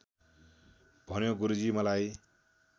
भन्यो गुरुजी मलाई